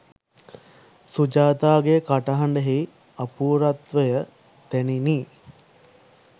සුජාතාගේ කටහඬෙහි අපූර්වත්වය දැනිණි.